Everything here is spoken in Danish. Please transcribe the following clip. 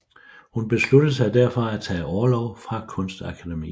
Hun besluttede sig derfor at tage orlov fra Kunstakademiet